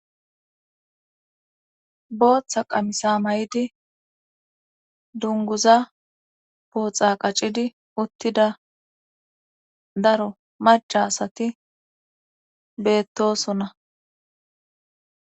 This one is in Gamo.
booththa qamisa may7idi dunguza booxa qaccidi uttida daro macasati beettosona